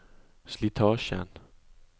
slitasjen